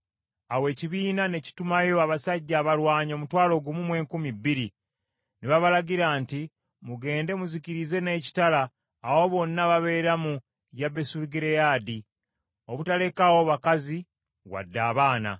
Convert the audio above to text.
Awo ekibiina ne kitumayo abasajja abalwanyi omutwalo gumu mu enkumi bbiri, ne babalagira nti, “Mugende muzikirize n’ekitala abo bonna ababeera mu Yabesugireyaadi, obutalekaawo bakazi wadde abaana.